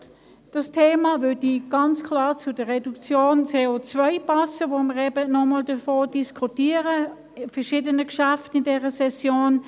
Dieses Thema würde ganz klar zur Reduktion der CO-Emissionen passen, über die wir in dieser Session bei verschiedenen Geschäften diskutieren.